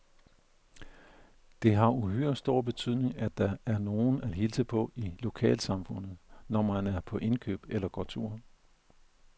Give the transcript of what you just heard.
Det har uhyre stor betydning, at der er nogen at hilse på i lokalsamfundet, når man er på indkøb eller går tur.